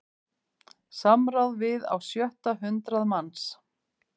Samráð við á sjötta hundrað manns